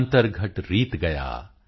ਅੰਤਰਘਟ ਰੀਤ ਗਯਾ